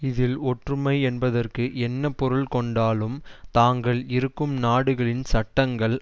இதில் ஒற்றுமை என்பதற்கு என்ன பொருள் கொண்டாலும் தாங்கள் இருக்கும் நாடுகளின் சட்டங்கள்